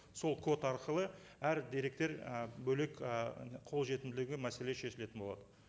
сол код арқылы әр деректер і бөлек і қолжетімділігі мәселе шешілетін болады